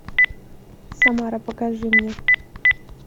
самара покажи мне